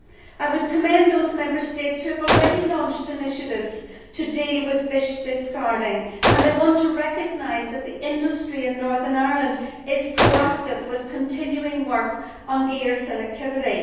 I would commend those Member States which have already launched initiatives to deal with fish discarding, and I want to recognise that the industry in Northern Ireland is being proactive with continuing work on gear selectivity.